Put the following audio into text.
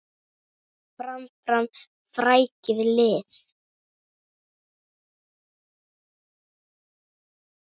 Fram, fram, frækið lið!